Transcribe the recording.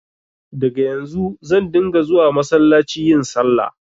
Daga yanzu zan dinga zuwa massalaci yin sallah